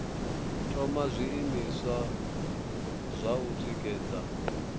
thoma zwiimiswa zwa u tikedza